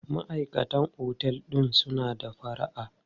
Maʼaikatan otel din suna da fara'a.